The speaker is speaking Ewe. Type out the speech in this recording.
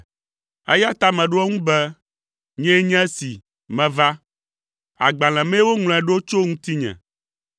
eya ta meɖo ŋu be, “Nyee nye si meva; agbalẽ mee woŋlɔe ɖo tso ŋutinye.